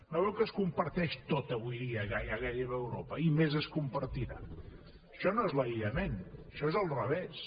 no veu que es comparteix tot avui dia gairebé a europa i més es compartirà això no és l’aïllament això és el revés